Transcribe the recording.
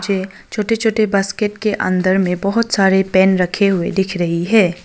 मुझे छोटे छोटे बास्केट के अंदर में बहुत सारे पेन रखे हुए दिख रही है।